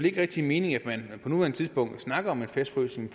ikke rigtig mening at man på nuværende tidspunkt snakker om en fastfrysning